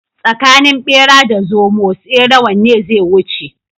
Tsakanin bera da zomo tsere wanne zai wuce?